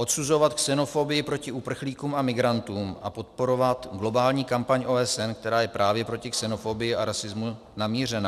Odsuzovat xenofobii proti uprchlíkům a migrantům a podporovat globální kampaň OSN, která je právě proti xenofobii a rasismu namířena.